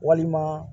Walima